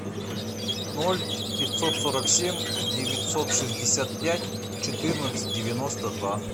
ноль пятьсот сорок семь девятьсот шестьдесят пять четырнадцать девяносто два